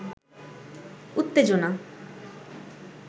উওেজনা